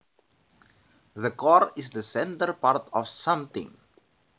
The core is the centre part of something